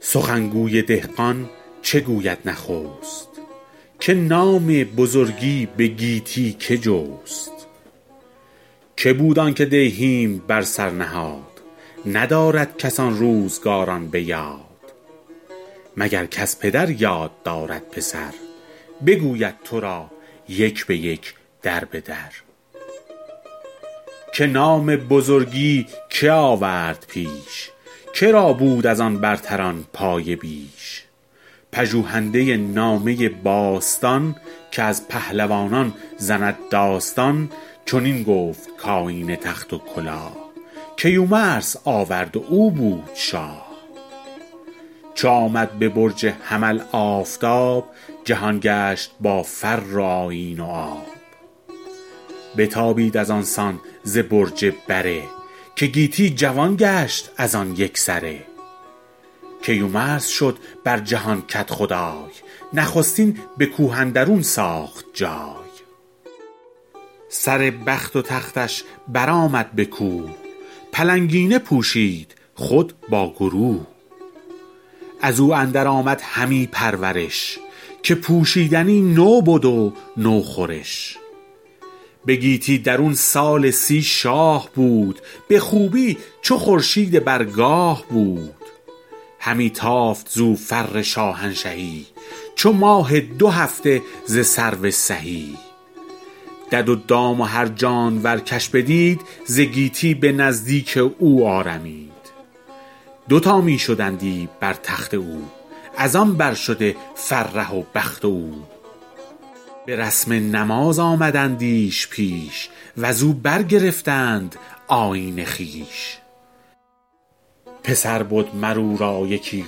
سخن گوی دهقان چه گوید نخست که نام بزرگی به گیتی که جست که بود آن که دیهیم بر سر نهاد ندارد کس آن روزگاران به یاد مگر کز پدر یاد دارد پسر بگوید تو را یک به یک در به در که نام بزرگی که آورد پیش که را بود از آن برتران پایه بیش پژوهنده نامه باستان که از پهلوانان زند داستان چنین گفت کآیین تخت و کلاه کیومرث آورد و او بود شاه چو آمد به برج حمل آفتاب جهان گشت با فر و آیین و آب بتابید از آن سان ز برج بره که گیتی جوان گشت از آن یک سره کیومرث شد بر جهان کدخدای نخستین به کوه اندرون ساخت جای سر بخت و تختش بر آمد به کوه پلنگینه پوشید خود با گروه از او اندر آمد همی پرورش که پوشیدنی نو بد و نو خورش به گیتی درون سال سی شاه بود به خوبی چو خورشید بر گاه بود همی تافت زو فر شاهنشهی چو ماه دو هفته ز سرو سهی دد و دام و هر جانور کش بدید ز گیتی به نزدیک او آرمید دوتا می شدندی بر تخت او از آن بر شده فره و بخت او به رسم نماز آمدندیش پیش و ز او برگرفتند آیین خویش پسر بد مر او را یکی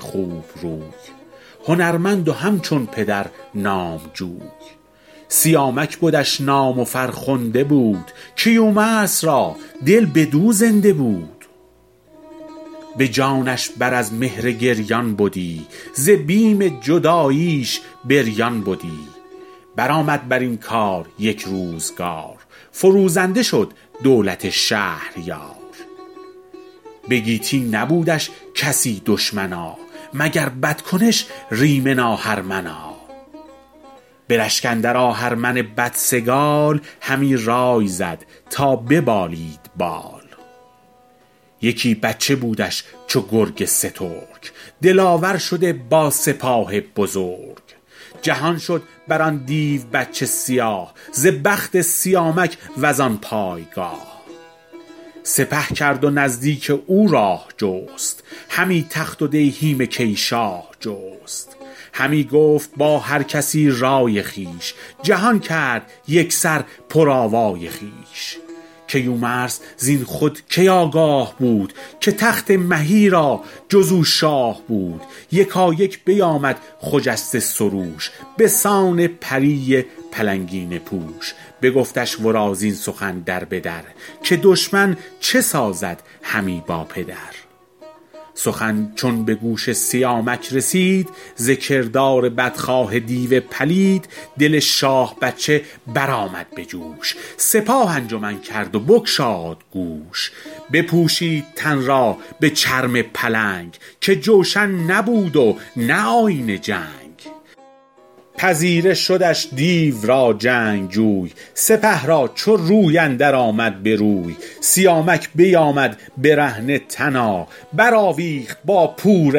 خوب روی هنرمند و همچون پدر نامجوی سیامک بدش نام و فرخنده بود کیومرث را دل بدو زنده بود به جانش بر از مهر گریان بدی ز بیم جداییش بریان بدی بر آمد بر این کار یک روزگار فروزنده شد دولت شهریار به گیتی نبودش کسی دشمنا مگر بدکنش ریمن آهرمنا به رشک اندر آهرمن بدسگال همی رای زد تا ببالید بال یکی بچه بودش چو گرگ سترگ دلاور شده با سپاه بزرگ جهان شد بر آن دیو بچه سیاه ز بخت سیامک و زان پایگاه سپه کرد و نزدیک او راه جست همی تخت و دیهیم کی شاه جست همی گفت با هر کسی رای خویش جهان کرد یک سر پر آوای خویش کیومرث زین خود کی آگاه بود که تخت مهی را جز او شاه بود یکایک بیامد خجسته سروش به سان پری پلنگینه پوش بگفتش ورا زین سخن در به در که دشمن چه سازد همی با پدر سخن چون به گوش سیامک رسید ز کردار بدخواه دیو پلید دل شاه بچه بر آمد به جوش سپاه انجمن کرد و بگشاد گوش بپوشید تن را به چرم پلنگ که جوشن نبود و نه آیین جنگ پذیره شدش دیو را جنگجوی سپه را چو روی اندر آمد به روی سیامک بیامد برهنه تنا بر آویخت با پور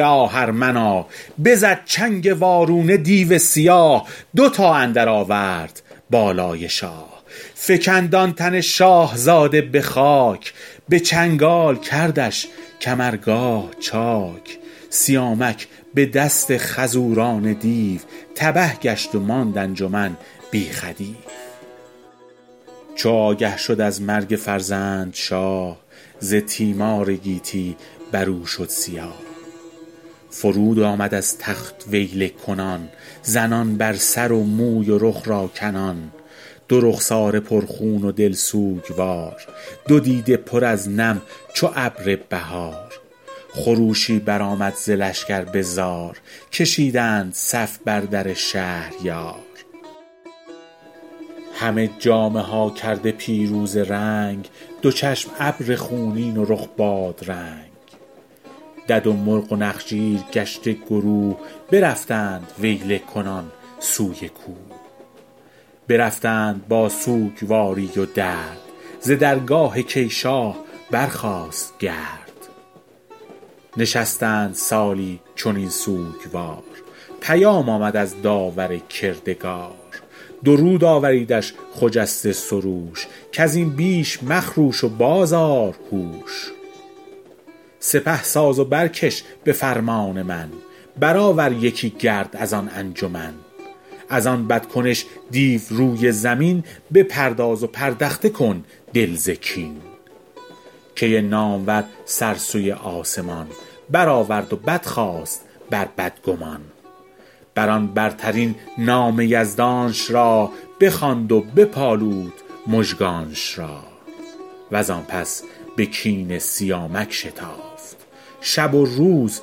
آهرمنا بزد چنگ وارونه دیو سیاه دوتا اندر آورد بالای شاه فکند آن تن شاهزاده به خاک به چنگال کردش کمرگاه چاک سیامک به دست خروزان دیو تبه گشت و ماند انجمن بی خدیو چو آگه شد از مرگ فرزند شاه ز تیمار گیتی بر او شد سیاه فرود آمد از تخت ویله کنان زنان بر سر و موی و رخ را کنان دو رخساره پر خون و دل سوگوار دو دیده پر از نم چو ابر بهار خروشی بر آمد ز لشکر به زار کشیدند صف بر در شهریار همه جامه ها کرده پیروزه رنگ دو چشم ابر خونین و رخ بادرنگ دد و مرغ و نخچیر گشته گروه برفتند ویله کنان سوی کوه برفتند با سوگواری و درد ز درگاه کی شاه برخاست گرد نشستند سالی چنین سوگوار پیام آمد از داور کردگار درود آوریدش خجسته سروش کز این بیش مخروش و باز آر هوش سپه ساز و برکش به فرمان من بر آور یکی گرد از آن انجمن از آن بد کنش دیو روی زمین بپرداز و پردخته کن دل ز کین کی نامور سر سوی آسمان بر آورد و بدخواست بر بدگمان بر آن برترین نام یزدانش را بخواند و بپالود مژگانش را و زان پس به کین سیامک شتافت شب و روز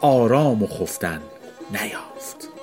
آرام و خفتن نیافت